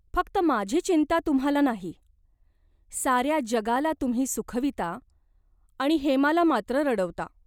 फक्त माझी चिंता तुम्हाला नाही. साऱ्या जगाला तुम्ही सुखविता आणि हेमाला मात्र रडवता.